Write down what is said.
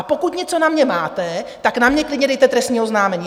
A pokud něco na mě máte, tak na mě klidně dejte trestní oznámení.